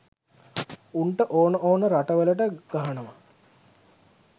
උන්ට ඕන ඕන රටවලට ගහනවා.